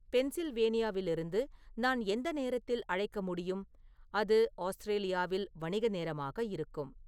பென்சில்வேனியாவிலிருந்து நான் எந்த நேரத்தில் அழைக்க முடியும் அது ஆஸ்திரேலியாவில் வணிக நேரமாக இருக்கும்